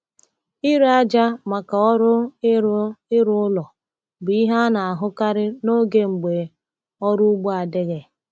Ire aja maka ọrụ ịrụ ịrụ ụlọ bụ ihe a na-ahụkarị n’oge mgbe ọrụ ugbo adịghị.